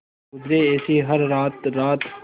गुजरे ऐसी हर रात रात